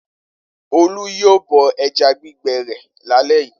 Olú yóò bọ ẹja gbígbẹ rẹ̀ lálẹ́ yìí.